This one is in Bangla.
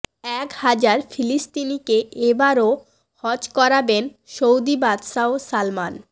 এক হাজার ফিলিস্তিনিকে এবারও হজ করাবেন সৌদি বাদশাহ সালমান